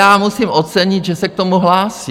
Já musím ocenit, že se k tomu hlásí.